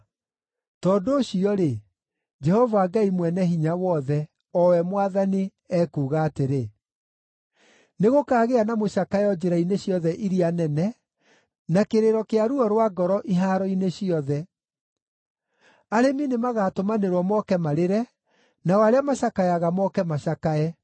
Tondũ ũcio-rĩ, Jehova Ngai Mwene-Hinya-Wothe, o we Mwathani, ekuuga atĩrĩ: “Nĩgũkaagĩa na mũcakayo njĩra-inĩ ciothe iria nene, na kĩrĩro kĩa ruo rwa ngoro ihaaro-inĩ ciothe. Arĩmi nĩmagatũmanĩrwo moke marĩre, nao arĩa macakayaga moke macakae.